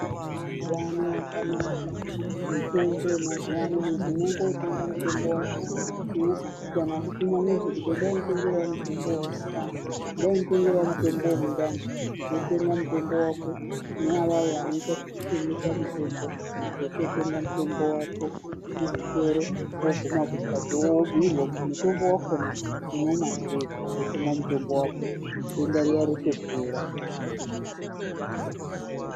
Mitombo yakanaka, mitombo yemazuwa ano munhu unondotenga mutombo wako, kana kutuma munhu kuti enda wonditengerawo mutombo wemundani enda wonditengerawo mutombo wemundani,, wotenga mutombo wako, kune vaya vanoitazvekutengesa mitombo ,wototenga mutombo wako muzvitoro, woguma kumhatso woobhuyirwa kuti mutombo wakona unomwa sei, wotomwa mutombo wako denda riya rotopera.